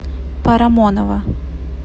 парамонова